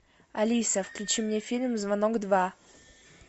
алиса включи мне фильм звонок два